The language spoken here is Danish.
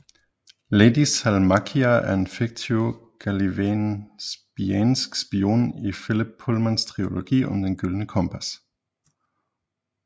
Lady Salmakia er en fiktiv gallivespiansk spion i Philip Pullmans trilogi om Det gyldne kompas